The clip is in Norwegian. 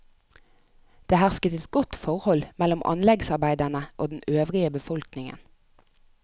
Det hersket et godt forhold mellom anleggsarbeiderne og den øvrige befolkningen.